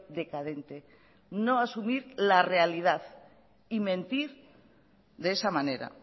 decadente no asumir la realidad y mentir de esa manera